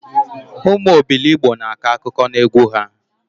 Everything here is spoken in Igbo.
Ụmụ obilogbo na-akọ akụkọ na egwu ha